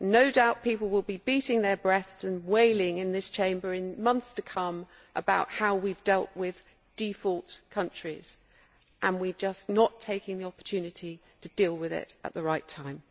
No doubt people will be beating their breasts and wailing in this Chamber in months to come about how we have dealt with the issue of default countries, and yet we are just not taking the opportunity to deal with it at the right time.